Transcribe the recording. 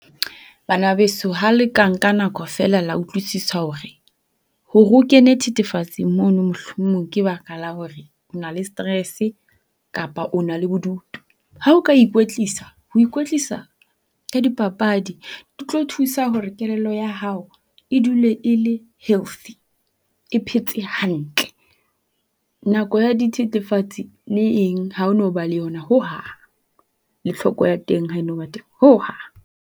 Bana beso ha le ka nka nako feela le utlwisisa hore, ho re o kene thethefatsing mono mohlomong ke baka la hore o na le stress kapa o na le bodutu. Ha o ka ikwetlisa, ho ikwetlisa ka dipapadi di tlo thusa hore kelello ya hao e dule e le healthy, e phetse hantle nako ya dithethefatsi le eng ha o no ba le yona hohang le thloko ya teng ha e no ba teng hohang.